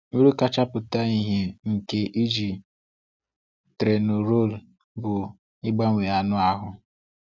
Uru kacha pụta ìhè nke iji Trenorol bụ ịbawanye anụ ahụ.